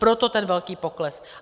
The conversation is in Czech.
Proto ten velký pokles.